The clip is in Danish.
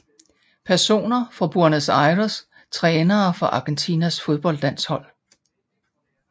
Personer fra Buenos Aires Trænere for Argentinas fodboldlandshold